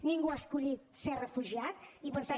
ningú ha escollit ser refugiat i per tant